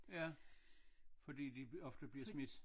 Ja fordi de ofte bliver smidt